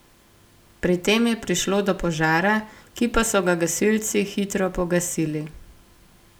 Pri tem je prišlo do požara, ki pa so ga gasilci hitro pogasili.